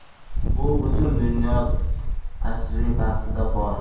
Bu butun dunyo tajribasida bor.